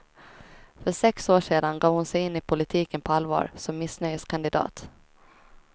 För sex år sedan gav hon sig in i politiken på allvar som missnöjeskandidat.